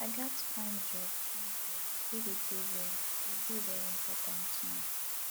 i gats find job find job wey dey pay well e dey very important now